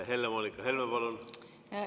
Helle-Moonika Helme, palun!